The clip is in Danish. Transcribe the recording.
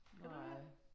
Kan du det?